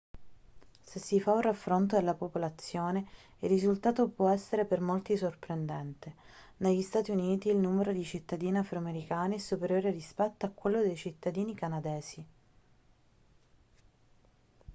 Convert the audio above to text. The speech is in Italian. se si fa un raffronto della popolazione il risultato può essere per molti sorprendente negli stati uniti il numero di cittadini afroamericani è superiore rispetto a quello dei cittadini canadesi